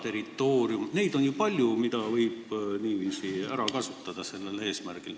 Neid loosungeid on ju palju, mida võib sellel eesmärgil ära kasutada.